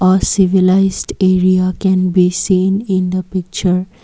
a civilized area can be seen in the picture.